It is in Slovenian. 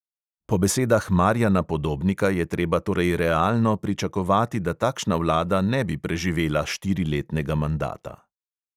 Po besedah marjana podobnika je treba torej realno pričakovati, da takšna vlada ne bi preživela štiriletnega mandata.